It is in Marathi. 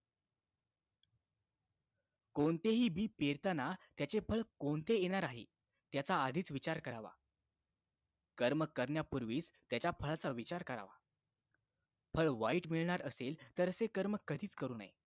कोणतेही बी पेरताना त्याचे फळ कोणते येणार आहे त्याचा आधीच विचार करावा कर्म करण्यापूर्वीच त्या फळाचा विचार करावा फळ वाईट मिळणार असेल तर असे कर्म कधीच करू नये